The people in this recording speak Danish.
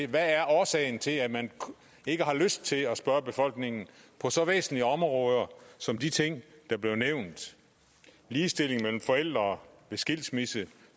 hvad er årsagen til at man ikke har lyst til at spørge befolkningen på så væsentlige områder som de ting der blev nævnt ligestilling mellem forældre ved skilsmisse